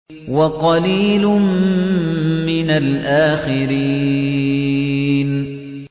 وَقَلِيلٌ مِّنَ الْآخِرِينَ